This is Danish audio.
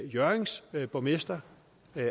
hjørrings borgmester